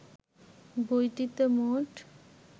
বইটিতে মোট